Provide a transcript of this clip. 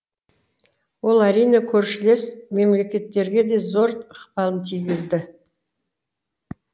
ол әрине көршілес мемлекеттерге де зор ықпалын тигізді